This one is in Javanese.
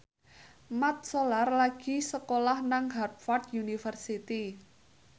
Mat Solar lagi sekolah nang Harvard university